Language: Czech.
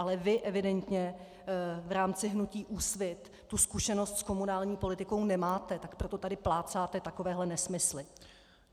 Ale vy evidentně v rámci hnutí Úsvit tu zkušenost s komunální politikou nemáte, tak proto tady plácáte takovéhle nesmysly!